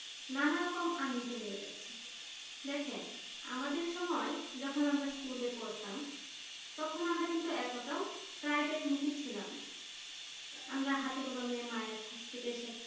নানা রকম নিয়ে যাচ্ছি দেখেন আমাদের সময় যখন school এ পড়তাম তখন কিন্তু আমরা এতটা private মুখে ছিলাম না আমরা হাতে কলমে মায়ের হাত থেকে শেখা